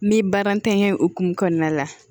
Ni baara ntanya hokumu kɔnɔna la